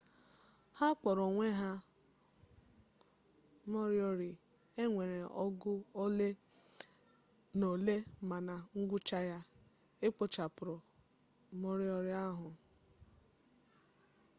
ha kpọrọ onwe ha moriori e nwere ọgụ ole na ole ma na ngwụcha ya e kpochapụrụ moriori ahụ